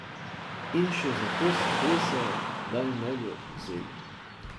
In še za to se tresejo, da jim ne bi vzeli.